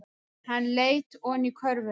Hann leit oní körfuna.